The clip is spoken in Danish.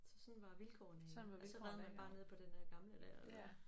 Så sådan var vilkårene i ja og så red man bare ned på den øh gamle der